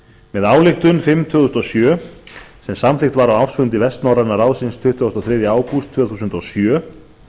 með ályktun númer fimm tvö þúsund og sjö sem samþykkt var á ársfundi vestnorræna ráðsins tuttugasta og þriðja ágúst tvö þúsund og sjö